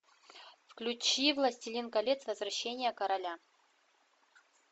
включи властелин колец возвращение короля